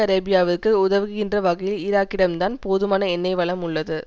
அரேபியாவிற்கு உதவுகின்ற வகையில் ஈராக்கிடம்தான் போதுமான எண்ணெய் வளம் உள்ளது